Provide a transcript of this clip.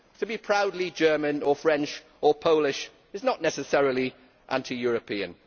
to be proudly German or French or Polish is not necessarily anti European.